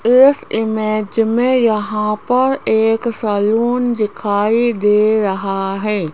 इस इमेज में यहां पर एक सलून दिखाई दे रहा है।